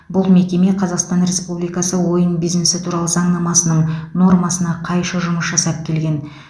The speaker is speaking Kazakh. бұл мекеме қазақстан республикасы ойын бизнесі туралы заңнамасының нормасына қайшы жұмыс жасап келген